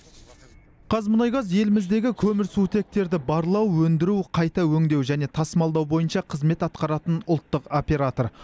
қазмұнайгаз еліміздегі көмірсутектерді барлау өндіру қайта өңдеу және тасымалдау бойынша қызмет атқаратын ұлттық оператор